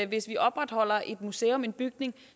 hvis vi opretholder et museum i en bygning